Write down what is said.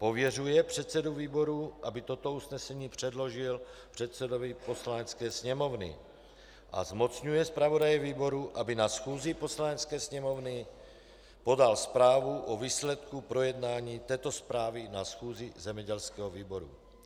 Pověřuje předsedu výboru, aby toto usnesení předložil předsedovi Poslanecké sněmovny a zmocňuje zpravodaje výboru, aby na schůzi Poslanecké sněmovny podal zprávu o výsledku projednání této zprávy na schůzi zemědělského výboru.